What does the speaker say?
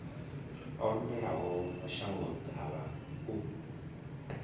o lovhelaho mashango ḓavha u